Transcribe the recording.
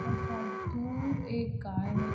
थोड़ा सा दूर एक गाय है।